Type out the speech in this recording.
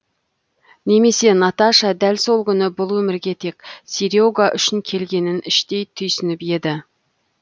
немесе наташа дәл сол күні бұл өмірге тек сере га үшін келгенін іштей түйсініп еді